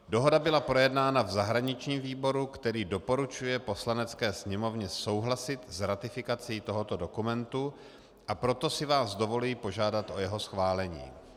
Dohoda byla projednána v zahraničním výboru, který doporučuje Poslanecké sněmovně souhlasit s ratifikací tohoto dokumentu, a proto si vás dovoluji požádat o jeho schválení.